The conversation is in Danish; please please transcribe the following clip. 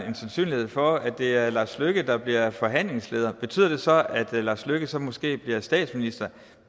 en sandsynlighed for at det er lars løkke rasmussen der bliver forhandlingsleder betyder det så at lars løkke rasmussen så måske bliver statsminister